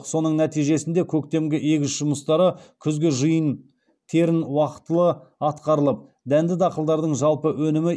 соның нәтижесінде көктемгі егіс жұмыстары күзгі жиын терін уақтылы атқарылып дәнді дақылдардың жалпы өнімі